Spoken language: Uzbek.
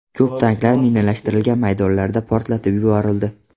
Ko‘p tanklar minalashtirilgan maydonlarda portlatib yuborildi.